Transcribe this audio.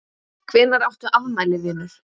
Hvenær áttu afmæli vinur?